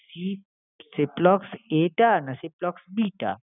C~ Ciplox A টা না Ciplox B টা?